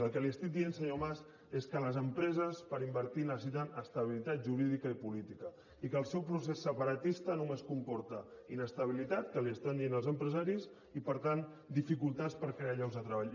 el que li estic dient senyor mas és que les empreses per invertir necessiten estabilitat jurídica i política i que el seu procés separatista només comporta inestabilitat que li ho estan dient els empresaris i per tant dificultats per crear llocs de treball